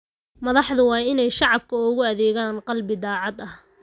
Madaxdu waa inay shacabka ugu adeegaan qalbi daacad ah.